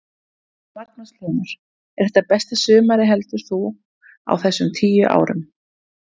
Magnús Hlynur: Er þetta besta sumarið heldur þú á þessum tíu árum?